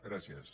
gràcies